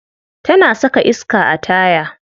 Tana saka iska a taya.